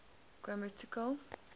grammatical